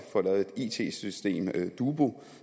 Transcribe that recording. it system dubu